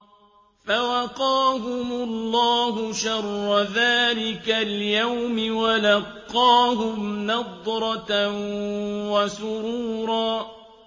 فَوَقَاهُمُ اللَّهُ شَرَّ ذَٰلِكَ الْيَوْمِ وَلَقَّاهُمْ نَضْرَةً وَسُرُورًا